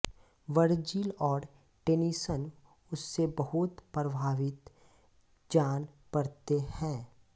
Virgil और Tennyson उससे बहुत प्रभावित जान पड़ते हैं